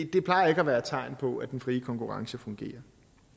det plejer ikke at være et tegn på at den frie konkurrence fungerer